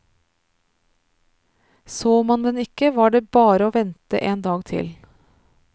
Så man den ikke var det bare å vente en dag til.